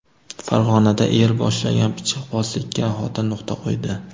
Farg‘onada er boshlagan pichoqbozlikka xotin nuqta qo‘ydi.